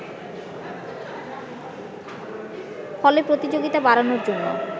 ফলে প্রতিযোগিতা বাড়ানোর জন্য